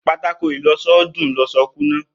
Pátákó ìlọsọ ó dùn loso kúnná